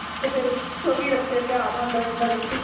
ਤੇ ਫ਼ਿਰ ਚੋਵੀ ਅਰਸੇ ਧਿਆਨ ਆਉਦਾ ਰਹਿੰਦਾ ਏ ਬੱਚੇ ਦਾ